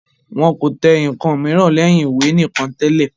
Wọn kò tẹ ǹkan mìíràn lẹ́yìn ìwé nìkan tẹ́lẹ̀